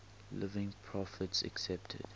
living prophets accepted